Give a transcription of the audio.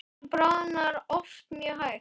Ísinn bráðnar oft mjög hægt.